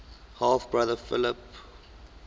half brother philip arrhidaeus